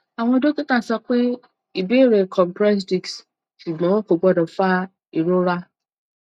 àwọn dókítà sọ pé ìbẹrẹ compressed disc ṣùgbọn kò gbọdọ fa ìrora